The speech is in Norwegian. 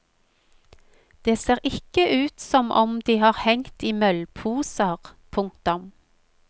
De ser ikke ut som om de har hengt i møllposer. punktum